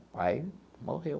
O pai morreu.